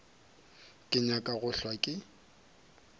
ke nyake go hlwa ke